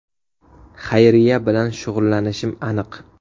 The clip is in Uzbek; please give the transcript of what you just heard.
Xayriya bilan shug‘ullanishim aniq.